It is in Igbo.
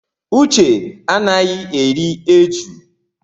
Uche anaghị eri eju.